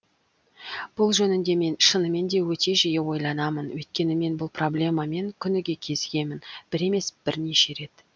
бұл жөнінде мен шынымен де өте жиі ойланамын өйткені мен бұл проблемамен күніге кезігемін бір емес бірнеше рет